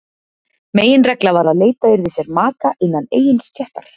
Meginregla var að leita yrði sér maka innan eigin stéttar.